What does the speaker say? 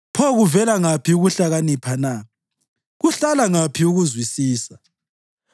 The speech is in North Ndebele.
Pho kuvela ngaphi ukuhlakanipha na? Kuhlala ngaphi ukuzwisisa?